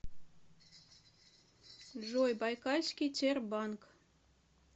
джой байкальский тербанк